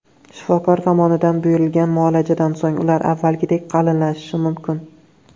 Shifokor tomonidan buyurilgan muolajadan so‘ng ular avvalgidek qalinlashishi mumkin.